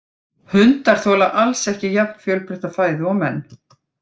Hundar þola alls ekki jafn fjölbreytta fæðu og menn.